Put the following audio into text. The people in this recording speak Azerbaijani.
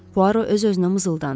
Puaro öz-özünə mızıldandı.